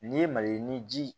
N'i ye maliyirinin ji